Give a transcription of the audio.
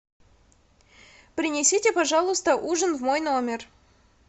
принесите пожалуйста ужин в мой номер